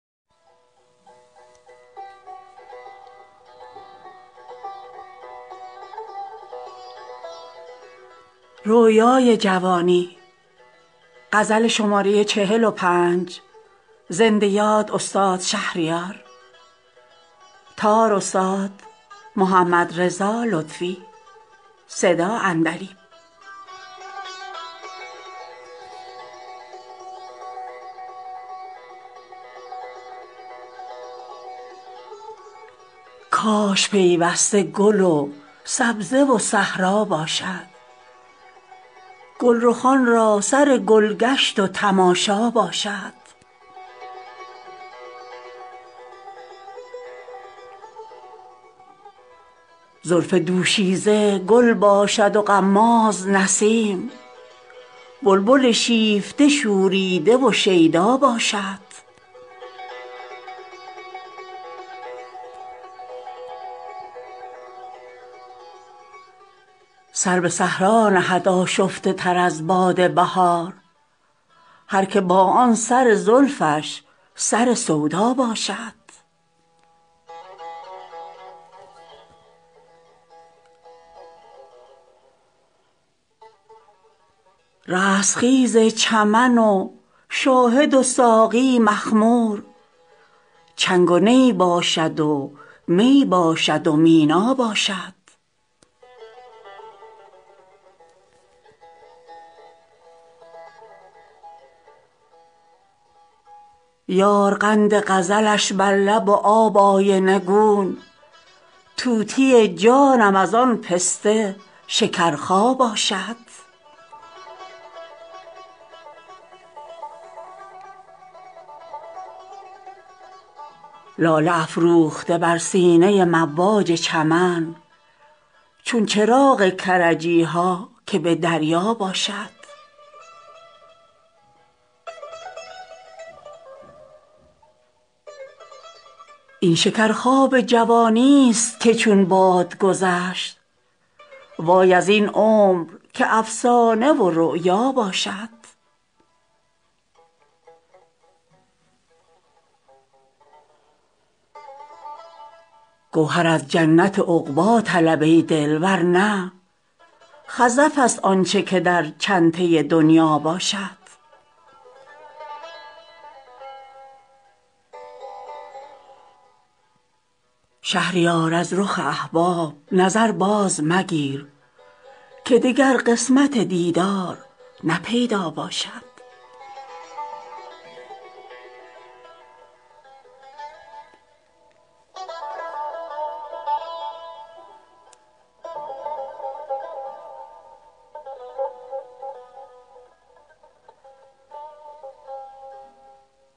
کاش پیوسته گل و سبزه و صحرا باشد گلرخان را سر گلگشت و تماشا باشد زلف دوشیزه گل باشد و غماز نسیم بلبل شیفته شوریده و شیدا باشد سر به صحرا نهد آشفته تر از باد بهار هر که با آن سر زلفش سر سودا باشد رستخیز چمن و شاهد و ساقی مخمور چنگ و نی باشد و می باشد و مینا باشد یار قند غزلش بر لب و آب آینه گون طوطی جانم از آن پسته شکرخا باشد لاله افروخته بر سینه مواج چمن چون چراغ کرجی ها که به دریا باشد این شکرخواب جوانی است که چون باد گذشت وای از این عمر که افسانه و رؤیا باشد گوهر از جنت عقبا طلب ای دل ورنه خزف است آنچه که در چنته دنیا باشد شهریار از رخ احباب نظر باز مگیر که دگر قسمت دیدار نه پیدا باشد